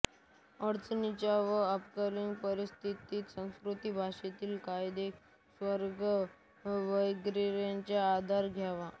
अडचणीच्या व अपवादात्मक परिस्थितीत संस्कृत भाषेतील क्रियापदेउपसर्ग वगैरेंचा आधार घ्यावा